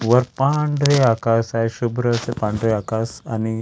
वर पांढरे आकाश आहे शुभ्र असे पांढरे आकाश आणि --